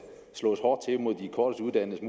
slås hårdt til mod de kortest uddannedes